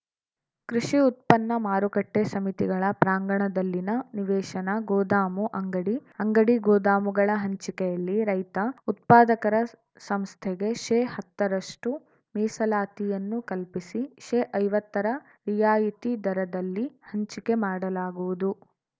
ಕೃಷಿ ಉತ್ಪನ್ನ ಮಾರುಕಟ್ಟೆಸಮಿತಿಗಳ ಪ್ರಾಂಗಣದಲ್ಲಿನ ನಿವೇಶನ ಗೋದಾಮು ಅಂಗಡಿ ಅಂಗಡಿಗೋದಾಮುಗಳ ಹಂಚಿಕೆಯಲ್ಲಿ ರೈತ ಉತ್ಪಾದಕರ ಸಂಸ್ಥೆಗೆ ಶೇಹತ್ತ ರಷ್ಟುಮೀಸಲಾತಿಯನ್ನು ಕಲ್ಪಿಸಿ ಶೇಐವತ್ತರ ರಿಯಾಯಿತಿ ದರದಲ್ಲಿ ಹಂಚಿಕೆ ಮಾಡಲಾಗುವುದು